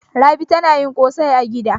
Rabi tana yin ƙosai a gida.